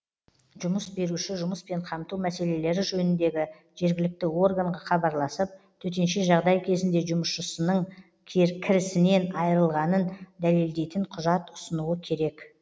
жұмыс беруші жұмыспен қамту мәселелері жөніндегі жергілікті органға хабарласып төтенше жағдай кезінде жұмысшысының кірісінен айырылғанын дәлелдейтін құжат ұсынуы керек